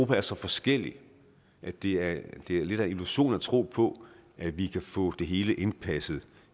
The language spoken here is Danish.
er så forskellige at det at det er lidt af en illusion at tro på at vi kan få det hele indpasset